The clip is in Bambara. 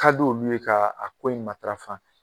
Ka di olu ye k'a ko in matarafa